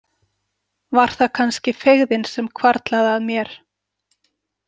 Var það kannski feigðin sem hvarflaði að mér?